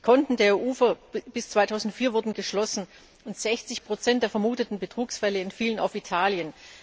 Die Konten der EU bis 2004 wurden geschlossen, und 60 der vermuteten Betrugsfälle entfielen auf Italien.